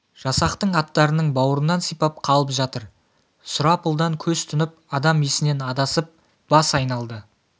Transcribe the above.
жасақтың аттарының бауырынан сипап қалып жатыр сұрапылдан көз тұнып адам есінен адасып бас айналды